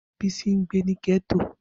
Bisi ngbe ni getto.